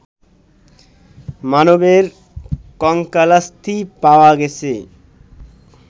মানবের কঙ্কালাস্থি পাওয়া গেছে